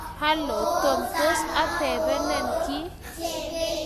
halo, Tom, tos atebenin kiy?